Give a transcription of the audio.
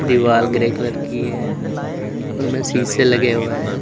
दीवार grey colour की है उसमें शीशे लगे हुए हैं।